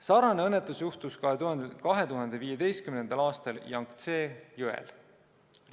Sarnane õnnetus juhtus 2015. aastal Jangtse jõel